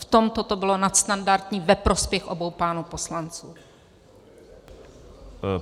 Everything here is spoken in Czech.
V tomto to bylo nadstandardní ve prospěch obou pánů poslanců.